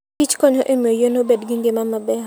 Kich konyo e miyo yien obed gi ngima maber.